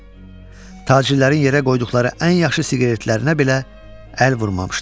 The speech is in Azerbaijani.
Tacirlərin yerə qoyduqları ən yaxşı siqaretlərinə belə əl vurmamışdı.